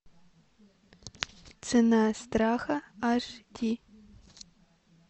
цена страха аш ди